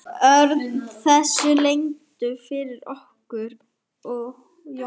Það er stúlkubarn, dásamleg og heilbrigð stúlka.